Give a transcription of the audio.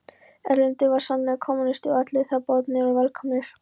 Erlendur var sannur kommúnisti og allir þar boðnir og velkomnir.